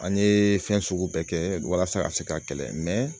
An ye fɛn sugu bɛɛ kɛ walasa a ka se ka kɛlɛ